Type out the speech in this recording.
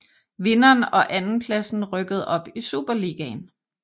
Vinderen og andenpladsen rykkede op i Superligaen